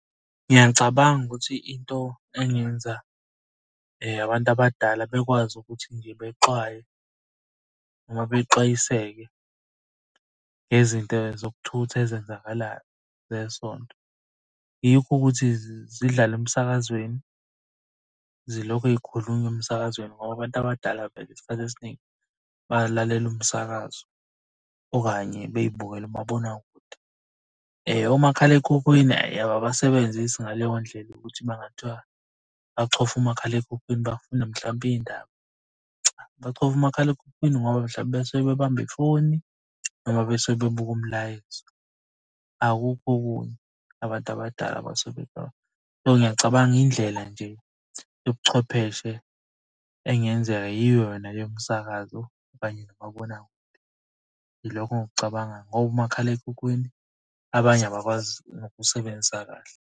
Ngiyacabanga ukuthi into engenza abantu abadala bekwazi ukuthi nje bexwaye noma bexwayiseke ngezinto zokuthutha ezenzakalayo zesonto. Yikho ukuthi zidlale emsakazweni, zilokhu y'khulunywa emsakazweni ngoba abantu abadala vele isikhathi esiningi balalela umsakazo, okanye bey'bukele umabonakude. Omakhalekhukhwini ababasebenzisi ngaleyo ndlela ukuthi uma kungathiwa bakuchofa umakhalekhukhwini bafuna mhlawumpe iy'ndaba, cha. Bachofa umakhalekhukhwini ngoba mhlawumpe basuke bebamba ifoni noma besuke bebuka umlayezo. Akukho okunye abantu abadala abasuke . So, ngiyacabanga indlela nje yobuchwepheshe engenzeka yiyo yona yomsakazo kanye nomabonakude. Yilokho engikucabangayi ngoba umakhalekhukhwini abanye abakwazi nokusebenzisa kahle.